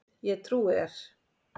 Ég trúi þér